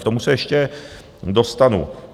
K tomu se ještě dostanu.